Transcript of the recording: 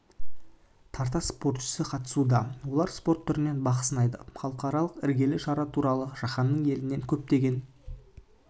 тарта спортшысы қатысуда олар спорт түрінен бақ сынайды халықаралық іргелі шара туралы жаһанның елінен көптеген